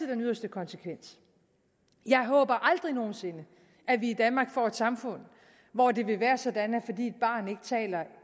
den yderste konsekvens jeg håber vi aldrig nogen sinde i danmark får et samfund hvor det vil være sådan